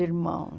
irmãos.